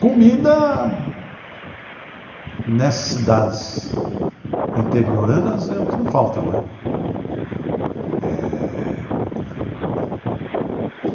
Comida, nessas cidades interioranas, é o que não falta né eh.